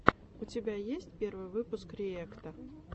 у тебя есть первый выпуск риэкта